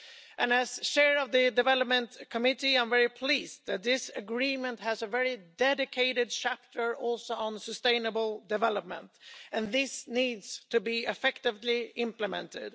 And, as Chair of the Development Committee, I'm very pleased that this agreement has a very dedicated chapter also on sustainable development, and this needs to be effectively implemented.